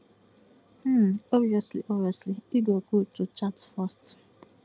um obviously obviously e go good to chat first